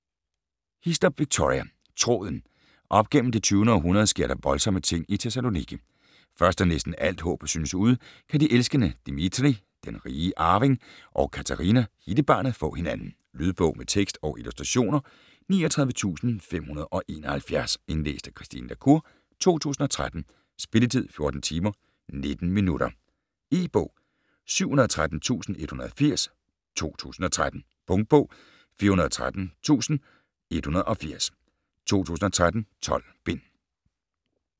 Hislop, Victoria: Tråden Op gennem det 20. århundrede sker der voldsomme ting i Thessaloniki. Først da næsten alt håb synes ude, kan de elskende Dimitri (den rige arving) og Katerina (hittebarnet) få hinanden. Lydbog med tekst og illustrationer 39571 Indlæst af Christine la Cour, 2013. Spilletid: 14 timer, 19 minutter. E-bog 713180 2013. Punktbog 413180 2013. 12 bind.